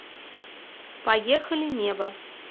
поехали небо